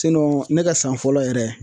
ne ka san fɔlɔ yɛrɛ